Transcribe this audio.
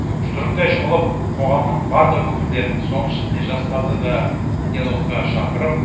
жұдырықтай жұмылып қоғамның барлық өкілдерін соның ішінде жастарды да диалогқа шақырып